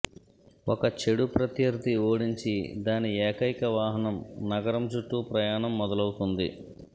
ఒక చెడు ప్రత్యర్థి ఓడించి దాని ఏకైక వాహనం నగరం చుట్టూ ప్రయాణం మొదలవుతుంది